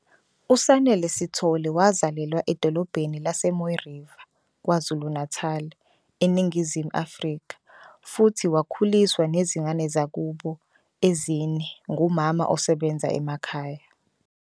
USanele Sithole wazalelwa edolobheni laseMooi River, KwaZulu-Natal, eNingizimu Afrika, futhi wakhuliswa nezingane zakubo ezine ngumama osebenza emakhaya.